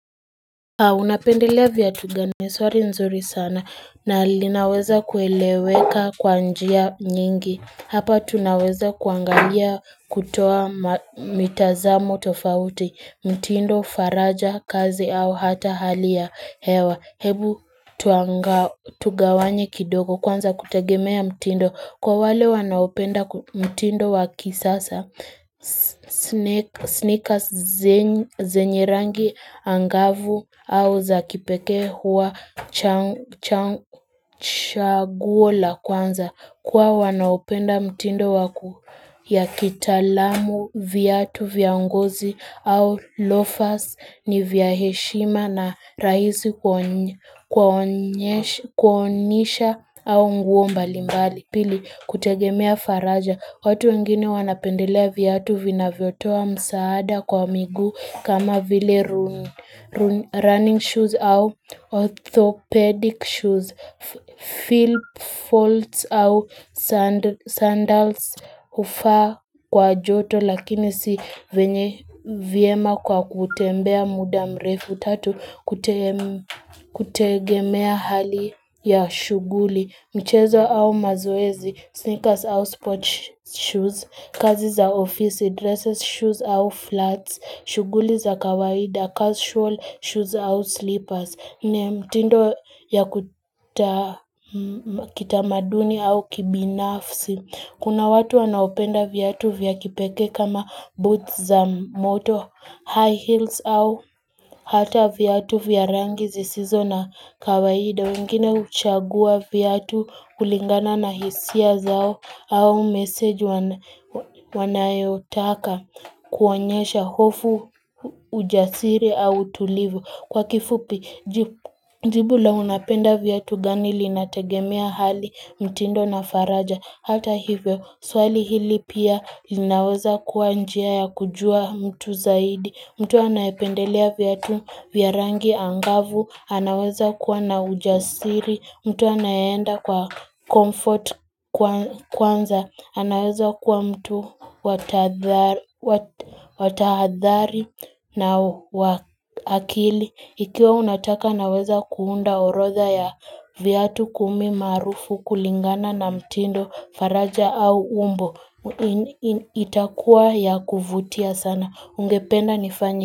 Unapendelea vyatu gani ni swari nzuri sana na linaweza kueleweka kwa njia nyingi Hapa tunaweza kuangalia kutoa mitazamo tofauti, mtindo faraja kazi au hata hali ya hewa Hebu tugawanye kidogo kwanza kutegemea mtindo kwa wale wanaopenda mtindo wa kisasa Sneakers zenye rangi angavu au za kipekee huwa chaguo la kwanza kwao wanaopenda mtindo ya kitalamu vyatu vya ngozi au lofas ni vya heshima na raisi kuonyesha au nguo mbali mbali. Pili, kutegemea faraja, watu wengine wanapendelea vyatu vinavyotoa msaada kwa miguu kama vile running shoes au orthopedic shoes, fill folds au sandals ufaa kwa joto lakini si venye vyema kwa kutembea muda mrefu tatu kutegemea hali ya shuguli. Mchezo au mazoezi, sneakers au sports shoes, kazi za ofisi, dresses shoes au flats, shuguli za kawaida, casual shoes au slippers, nne mtindo ya kitamaduni au kibinafsi. Kuna watu wanaopenda viatu vya kipeke kama boots za moto, high heels au hata viatu vya rangi zisizo na kawaida. Wengine huchagua viatu kulingana na hisia zao au message wanayotaka kuonyesha hofu ujasiri au utulivu. Kwa kifupi, jibu la unapenda vyatu gani linategemea hali mtindo na faraja Hata hivyo, swali hili pia linaweza kuwa njia ya kujua mtu zaidi mtu anayependelea vyatu vya rangi angavu, anaweza kuwa na ujasiri mtu anayeenda kwa comfort kwanza anaweza kuwa mtu watahadhari na wa akili Ikiwa unataka naweza kuunda orodha ya viatu kumi maarufu kulingana na mtindo faraja au umbo itakuwa ya kuvutia sana Ungependa nifanye.